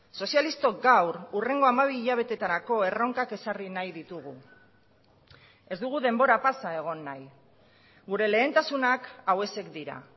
sozialistok gaur hurrengo hamabi hilabetetarako erronkak ezarri nahi ditugu ez dugu denbora pasa egon nahi gure lehentasunak hauexek dira